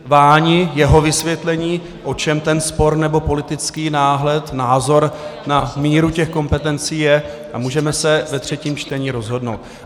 Váni jeho vysvětlení, o čem ten spor nebo politický náhled, názor na míru těch kompetencí je, a můžeme se ve třetím čtení rozhodnout.